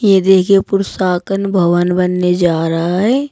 ये देखिए भवन बनने जा रहा है।